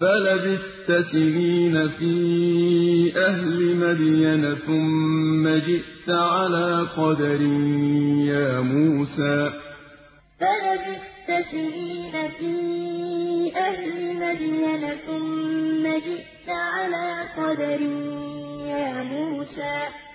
فَلَبِثْتَ سِنِينَ فِي أَهْلِ مَدْيَنَ ثُمَّ جِئْتَ عَلَىٰ قَدَرٍ يَا مُوسَىٰ إِذْ تَمْشِي أُخْتُكَ فَتَقُولُ هَلْ أَدُلُّكُمْ عَلَىٰ مَن يَكْفُلُهُ ۖ فَرَجَعْنَاكَ إِلَىٰ أُمِّكَ كَيْ تَقَرَّ عَيْنُهَا وَلَا تَحْزَنَ ۚ وَقَتَلْتَ نَفْسًا فَنَجَّيْنَاكَ مِنَ الْغَمِّ وَفَتَنَّاكَ فُتُونًا ۚ فَلَبِثْتَ سِنِينَ فِي أَهْلِ مَدْيَنَ ثُمَّ جِئْتَ عَلَىٰ قَدَرٍ يَا مُوسَىٰ